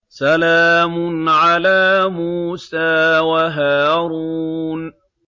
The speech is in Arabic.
سَلَامٌ عَلَىٰ مُوسَىٰ وَهَارُونَ